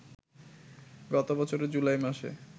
গতবছরের জুলাই মাসে